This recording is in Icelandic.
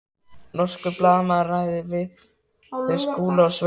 Norskur blaðamaður ræðir við þau Skúla og Svövu.